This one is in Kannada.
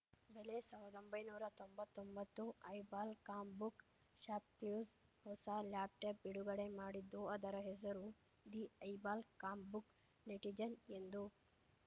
ಬೆಲೆ ಸಾವಿರ್ದಾ ಒಂಬೈನೂರಾ ತೊಂಬತ್ತೊಂಬತ್ತು ಐಬಾಲ್‌ ಕಾಂಪ್‌ಬುಕ್‌ ಶಾಪ್‌ಕ್ಲ್ಯೂಸ್‌ ಹೊಸ ಲ್ಯಾಪ್‌ಟಾಪ್‌ ಬಿಡುಗಡೆ ಮಾಡಿದ್ದು ಅದರ ಹೆಸರು ದಿ ಐಬಾಲ್‌ ಕಾಂಪ್‌ಬುಕ್‌ ನೆಟಿಜೆನ್‌ ಎಂದು